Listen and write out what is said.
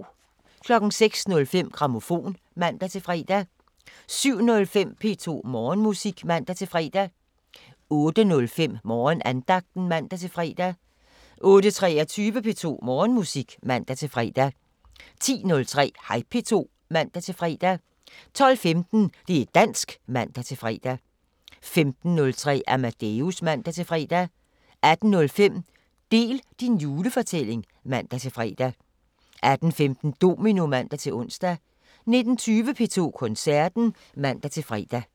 06:05: Grammofon (man-fre) 07:05: P2 Morgenmusik (man-fre) 08:05: Morgenandagten (man-fre) 08:23: P2 Morgenmusik (man-fre) 10:03: Hej P2 (man-fre) 12:15: Det' dansk (man-fre) 15:03: Amadeus (man-fre) 18:05: Del din julefortælling (man-fre) 18:15: Domino (man-ons) 19:20: P2 Koncerten (man-fre)